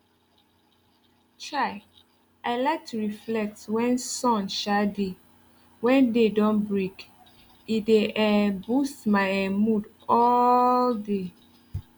chai i like to reflect wen sun um dey wen day don break e dey um boost my[um]mood all mood all day